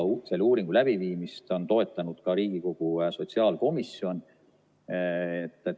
Selle uuringu läbiviimist on toetanud ka Riigikogu sotsiaalkomisjon.